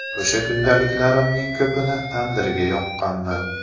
O‘sha kundaliklarimning ko‘pini tandirda yoqqanman.